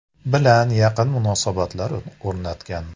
bilan yaqin munosabatlar o‘rnatgan.